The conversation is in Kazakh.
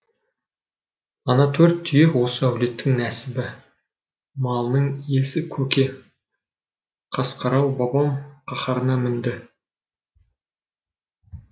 ана төрт түйе осы әулеттің нәсібі малының иесі көке қасқарау бабам қаһарына мінді